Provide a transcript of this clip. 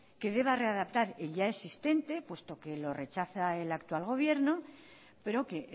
que deba readaptar el ya existente puesto que lo rechaza el actual gobierno pero que